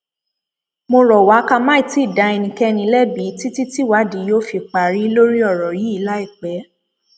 mo rọ wá ká má tí ì dá ẹnikẹni lẹbi títí tìwádìí yóò fi parí lórí ọrọ yìí láìpẹ